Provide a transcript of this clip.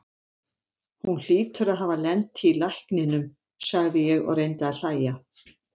Hún hlýtur að hafa lent í lækninum, sagði ég og reyndi að hlæja.